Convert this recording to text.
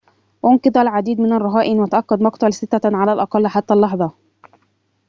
أُنقذ العديد من الرهائن وتأكد مقتل ستة على الأقل حتى اللحظة